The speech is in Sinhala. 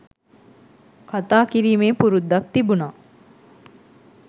කතා කිරීමේ පුරුද්දක් තිබුණා